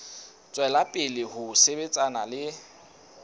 tswela pele ho sebetsana le